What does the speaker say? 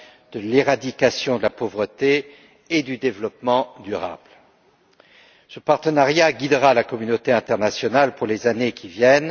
de l'éradication de la pauvreté et du développement durable. Ce partenariat guidera la communauté internationale pour les années à venir.